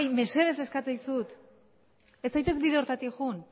mesedez eskatzen dizut ez zaitez bide horretatik joan